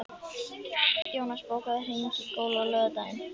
Jónas, bókaðu hring í golf á laugardaginn.